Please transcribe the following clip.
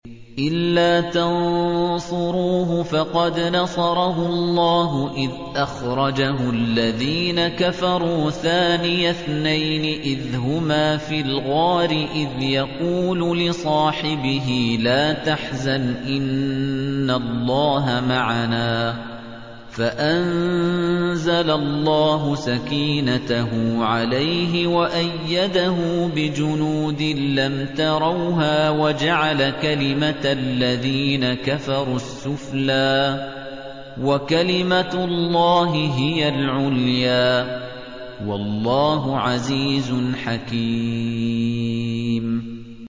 إِلَّا تَنصُرُوهُ فَقَدْ نَصَرَهُ اللَّهُ إِذْ أَخْرَجَهُ الَّذِينَ كَفَرُوا ثَانِيَ اثْنَيْنِ إِذْ هُمَا فِي الْغَارِ إِذْ يَقُولُ لِصَاحِبِهِ لَا تَحْزَنْ إِنَّ اللَّهَ مَعَنَا ۖ فَأَنزَلَ اللَّهُ سَكِينَتَهُ عَلَيْهِ وَأَيَّدَهُ بِجُنُودٍ لَّمْ تَرَوْهَا وَجَعَلَ كَلِمَةَ الَّذِينَ كَفَرُوا السُّفْلَىٰ ۗ وَكَلِمَةُ اللَّهِ هِيَ الْعُلْيَا ۗ وَاللَّهُ عَزِيزٌ حَكِيمٌ